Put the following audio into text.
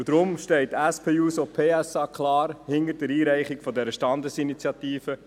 Deshalb steht die SP-JUSO-PSA klar hinter der Einreichung der Standesinitiative.